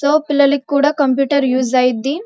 So పిల్లలకి కూడా computer use అవుతుంది.